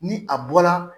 Ni a bɔla